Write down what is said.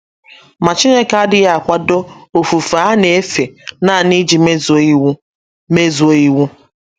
Ma Chineke adịghị akwado ofufe a na - efe nanị iji mezuo iwu. mezuo iwu.